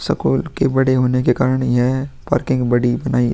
school के बड़े होने के कारण यह है पार्किंग बड़ी बनाइए --